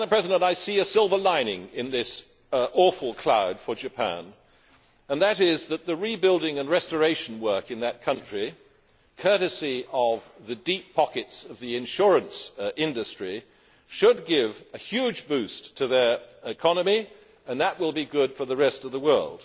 Madam President, I see a silver lining in this awful cloud for Japan namely that the rebuilding and restoration work in that country, courtesy of the deep pockets of the insurance industry, should give a huge boost to their economy and that will be good for the rest of the world.